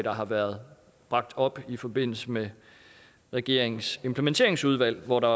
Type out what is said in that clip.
har været bragt op i forbindelse med regeringens implementeringsudvalg hvor der